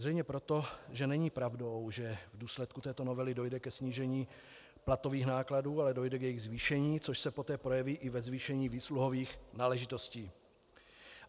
Zřejmě proto, že není pravdou, že v důsledku této novely dojde ke snížení platových nákladů, ale dojde k jejich zvýšení, což se poté projeví i ve zvýšení výsluhových náležitostí.